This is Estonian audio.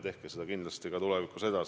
Tehke seda kindlasti ka tulevikus!